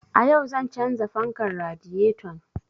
A yau zan canza fankar radiyeton